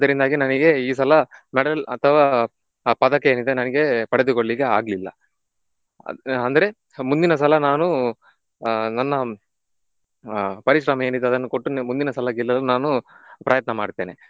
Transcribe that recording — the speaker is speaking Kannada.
ಅದರಿಂದಾಗಿ ನನಿಗೆ ಈ ಸಲ medal ಅಥವಾ ಪ~ ಪದಕ ಏನಿದೆ ನನಿಗೆ ಪಡೆದುಕೊಳ್ಳಿಕ್ಕೆ ಆಗ್ಲಿಲ್ಲ. ಅಂದ್ರೆ ಮುಂದಿನ ಸಲ ನಾನು ಆಹ್ ನನ್ನ ಆಹ್ ಪರಿಶ್ರಮ ಏನಿದೆ ಅದನ್ನು ಕೊಟ್ಟು ಮುಂದಿನ ಸಲ ಗೆಲ್ಲಲು ನಾನು ಪ್ರಯತ್ನ ಮಾಡ್ತೇನೆ.